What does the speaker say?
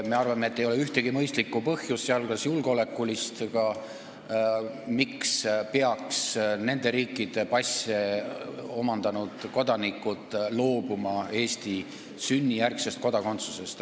Me arvame, et ei ole ühtegi mõistlikku põhjust, sh julgeolekulist, miks peaks nende riikide passi saanud inimesed loobuma sünnijärgsest Eesti kodakondsusest.